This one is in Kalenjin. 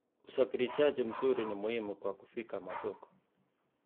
Usafirishaji mzuri ni muhimu kwa kufikia masoko.